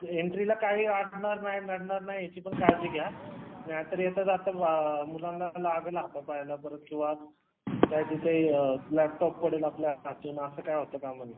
एन्ट्रीला काय अडणार नाही नडणार नाही याचीपण काळजी घ्या नाहीतर मुलांना लागल हाता पायाला काय तिथे लॅपटॉप पडल आपल्या हातून अस काही होता कामा नये